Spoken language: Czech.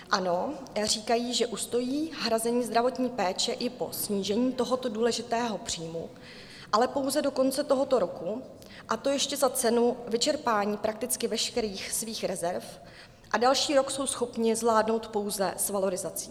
Ano, říkají, že ustojí hrazení zdravotní péče i po snížení tohoto důležitého příjmu, ale pouze do konce tohoto roku, a to ještě za cenu vyčerpání prakticky veškerých svých rezerv, a další rok jsou schopni zvládnout pouze s valorizací.